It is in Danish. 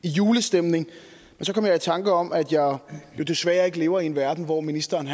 i julestemning men så kom jeg i tanke om at jeg desværre ikke lever i en verden hvor ministeren